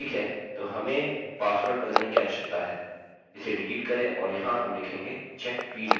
ठीक है तो हमें पासवर्ड बदलने की आवश्यकता है इसे डिलीट करें और यहाँ हम लिखेंगे check fields